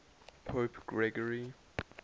pope gregory